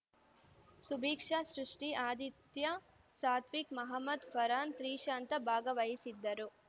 ಸುಭೀಕ್ಷಾ ಸೃಷ್ಠಿ ಆದಿತ್ಯ ಸಾತ್ವಿಕ್‌ ಮಹಮದ್‌ ಫರಾನ್‌ ತ್ರಿಷಾಂತ ಭಾಗವಹಿಸಿದ್ದರು